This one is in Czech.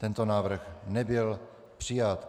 Tento návrh nebyl přijat.